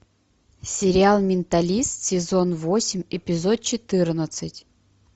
сериал менталист сезон восемь эпизод четырнадцать